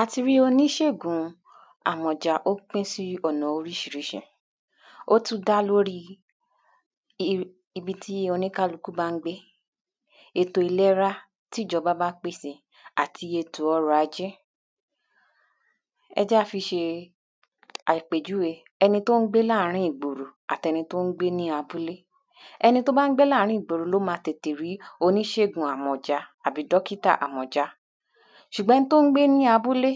à ti rí oníṣègùn àmọ̀jà, ó pín sí ọ̀nà oríṣiríṣi ó tún dá lórí ibi tí oníkálukú bá ń gbé ètò ìlera tí ìjọba bá pèsè àti ètò ọrọ̀ ajé ẹ jẹ́ á fi ṣe àpèjúwe ẹni tó ń gbé láàrín ìgboro àtẹni tó ń gbé ní abúlé ẹni tó bá ń gbé ní àárín ìgboro ló ma tètè rí oníṣègùn àmọ̀já àbí dọ́kítà àmọ̀já ṣùgbọ́n, ẹni tó ń gbé ní abúlé,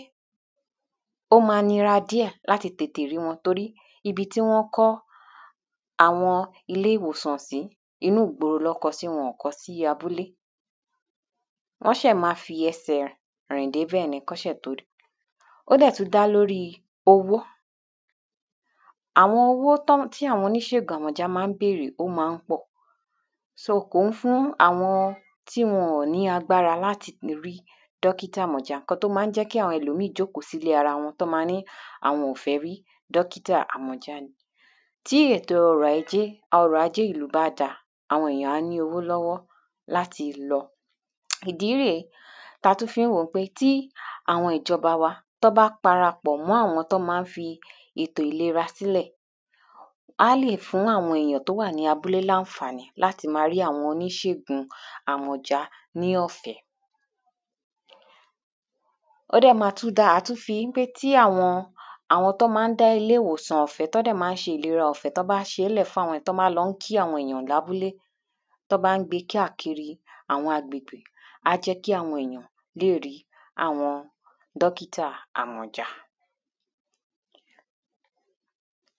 ó ma nira díẹ̀ láti tètè rí wọn torí ibi tí wọ́n kọ́ àwọn ilé ìwòsàn sí, inú igboro ná kọ́ ọ sí wọn ò kọ́ ọ sí abúlé wọ́n ṣẹ̀ ma fi ẹsẹ̀ rìn dé bẹ̀ ni, kán ṣẹ̀ tó ri ó dẹ̀ tún dá lórí owó àwọn owó tí àwọn oníṣègùn àmọ̀já ma ń bèrè, ó ma ń pọ̀ so, kò ń fún àwọn tí wọn ò ní agbára láti lè rí dọ́kítà àmọ̀já. ǹkan tó má n jẹ́ kí àwọn ẹlòmíì jókòó sí ilé ara wọn, tán má a ní àwọn ò fẹ́ rí dọkítà àmọ̀já ni tí ètò ọrọ̀ ajé ìlú bá da. àwọn èyàn á ní owó lọ́wọ́ láti lọ ìdí rè é tatún fi ń wò ó pé tí àwọn ìjọba wa, tán bá parapọ̀ mọ́ àwọn tán ma ń fi ètò ìlera sí lẹ̀ á lè fún àwọn èyàn tó wà ní abúlé láǹfàní láti ma rí àwọn oníṣègùn àmọ̀já ní ọ̀fẹ́ ó dẹ̀ ma tún dáa, à tún fi pé tí àwọn tán ma dá ilé ìwòsàn ọ̀fẹ́ tán dẹ̀ má ń ṣe ìlera ọ̀fẹ́ tán bá ṣé lẹ̀ fún àwọn tán bá ń lọ kí àwọn èyàn lábúlé tán bá ń gbe káàkiri àwọn àgbègbè á jẹ́ kí àwọn èyàn léèri àwọn dókítà àmọ̀já.